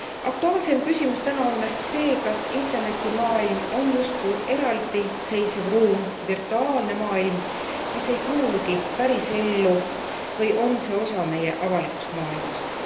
Aktuaalsem küsimus täna on ehk see, kas Interneti maailm on justkui eraldiseisev ruum virtuaalne maailm mis ei kuulugi pärisellu, või on see osa meie avalikust maailmast?